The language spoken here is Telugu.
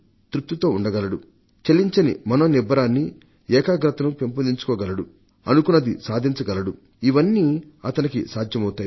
తృప్తితో ఉండగలడు చలించని మనోనిబ్బరాన్ని ఏకాగ్రతను పెంపొందించుకోగలడు అనుకున్నది సాధించగలడు ఇవన్నీ అతనికి సాధ్యమవుతాయి